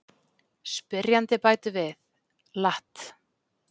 Spyrjandi bætir við: Lat.